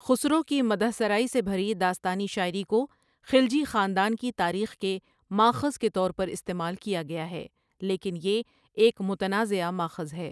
خسرو کی مدح سرائی سے بھری داستانی شاعری کو خلجی خاندان کی تاریخ کے ماخذ کے طور پر استعمال کیا گیا ہے، لیکن یہ ایک متنازعہ ماخذ ہے۔